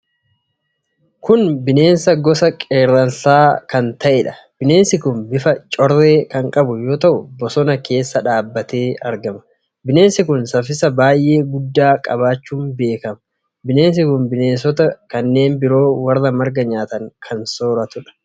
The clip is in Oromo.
Kun bineensa gosa qerramsaa kan ta'eedha. Bineensi kun bifa corree kan qabu yoo ta'u, bosona keessa dhaabatee argama. Bineensi kun saaffisa baay'ee guddaa qabaachuun beekama. Bineensi kun bineensota kanneen biroo warra marga nyaatan kan sooratuudha.